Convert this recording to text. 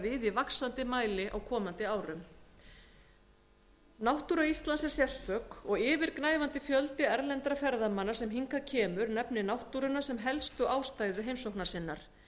í vaxandi mæli á komandi árum náttúra íslands er sérstök og yfirgnæfandi fjöldi erlendra ferðamanna sem hingað kemur nefnir náttúruna sem helstu ástæðu heimsóknarinnar